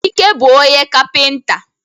Ike bu onye kapịnta.